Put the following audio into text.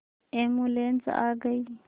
ambulance आ गई